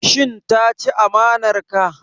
Shin ta ci amanar ka?